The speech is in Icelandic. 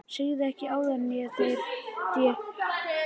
Sagðirðu ekki áðan að þér hefði verið gefið þetta hjól?